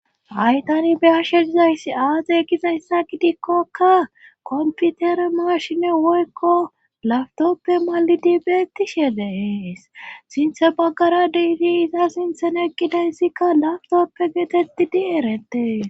Haytani behashe dizayssi aade gizayssa gidikkokka komputere marshine woykko laftoppe malidi beettishe deees sinthe baggara deidiiza sinthen egidayssikka laftoppe geetettidi eretee.